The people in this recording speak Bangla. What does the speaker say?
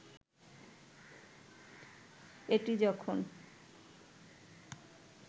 এটি যখন